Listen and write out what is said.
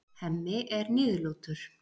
Hemmi er niðurlútur.